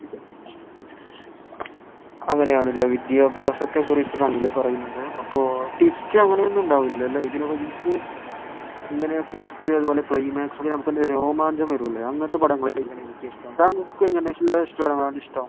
അങ്ങനെയാണല്ലേ വിദ്യാഭ്യാസത്തെ കുറിച്ച് ആണല്ലേ പറയുന്നത്. അപ്പൊ ട്വിസ്റ്റ് അങ്ങനെ ഒന്നും ഉണ്ടാവൂല അല്ലെ. ഇങ്ങനെ ട്വിസ്റ്റ് അതുപോലെ ക്ലൈമാക്സ് രോമാഞ്ചം വരൂലേ അങ്ങനത്തെ പടങ്ങളാണ് എനിക്കിഷ്ടം.